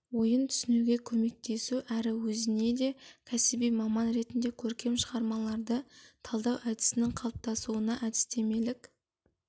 ойын түсінуге көмектесу әрі өзіне де кәсіби маман ретінде көркем шығармаларды талдау әдісінің қалыптасуына әдістемелік